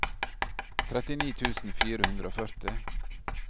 trettini tusen fire hundre og førti